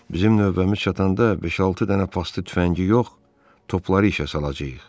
Bizim növbəmiz çatanda beş-altı dənə paslı tüfəngi yox, topları işə salacağıq.